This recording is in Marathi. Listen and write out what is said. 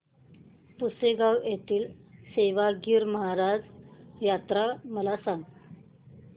पुसेगांव येथील सेवागीरी महाराज यात्रा मला सांग